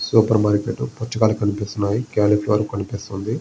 Super market పుచ్చకాయలు కనిపిస్తున్నాయి. Cauliflower కనీపిస్తుంది.